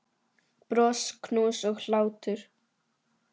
Bros, knús og hlátur.